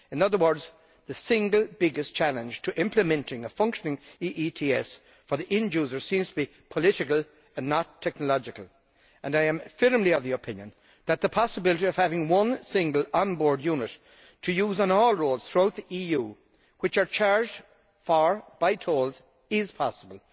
In other words, the single biggest challenge to implementing a functioning EETS for the end user seems to be political and not technological, and I am firmly of the opinion that the possibility of having one single onboard unit to use on all roads throughout the EU which are charged for by tolls is possible